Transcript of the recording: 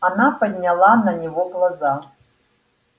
она подняла на него глаза